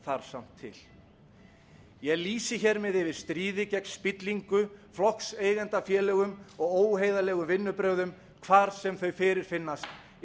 þarf samt til ég lýsi hér með yfir stríði gegn spillingu flokkseigendafélögum og óheiðarlegum vinnubrögðum hvar sem þau fyrirfinnast í